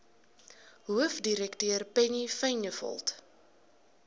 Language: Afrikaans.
hoofdirekteur penny vinjevold